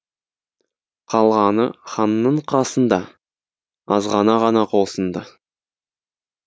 қалғаны ханның қасында азғана ғана қосынды